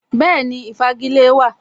Bẹ́ẹ̀ni, Ìfagilée wà